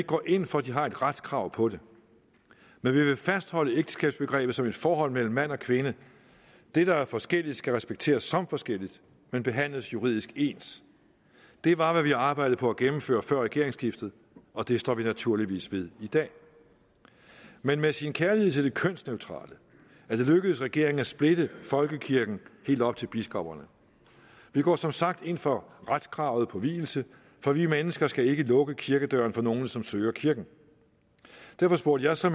går ind for at de har et retskrav på det men vi vil fastholde ægteskabsbegrebet som et forhold mellem mand og kvinde det der er forskelligt skal respekteres som forskelligt men behandles juridisk ens det var hvad vi arbejdede på at gennemføre før regeringsskiftet og det står vi naturligvis ved i dag men med sin kærlighed til det kønsneutrale er det lykkedes regeringen at splitte folkekirken helt op til biskopperne vi går som sagt ind for retskravet på vielse for vi mennesker skal ikke lukke kirkedøren for nogen som søger kirken derfor spurgte jeg så